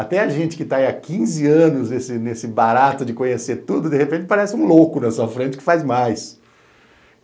Até a gente que tá aí há quinze anos nesse barato de conhecer tudo, de repente parece um louco na sua frente que faz mais.